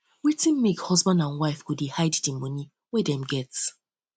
wetin make husband and wife go dey hide di moni wey dem get